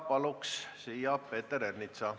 Palun siia Peeter Ernitsa.